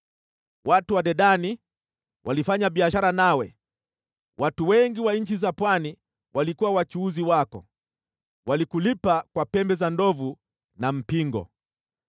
“ ‘Watu wa Dedani walifanya biashara nawe, watu wengi wa nchi za pwani walikuwa wachuuzi wako, walikulipa kwa pembe za ndovu na mpingo.